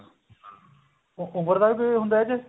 ਉਮਰ ਦਾ ਕੋਈ ਉਹ ਹੁੰਦਾ ਕੇ